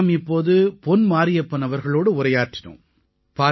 நாம் இப்போது பொன் மாரியப்பன் அவர்களோடு உரையாற்றினோம்